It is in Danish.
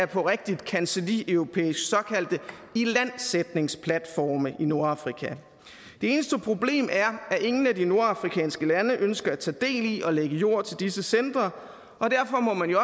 på rigtig kancellieuropæisk såkaldte ilandsætningsplatforme i nordafrika det eneste problem er at ingen af de nordafrikanske lande ønsker at tage del i og lægge jord til disse centre og derfor må man jo